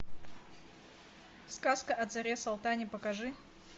сказка о царе салтане покажи